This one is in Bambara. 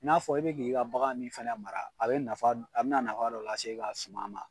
N'a fɔ i be k'i ka bagan min fɛnɛ mara a bɛ nafa a bɛna nafa dɔ las'e ka suman ma.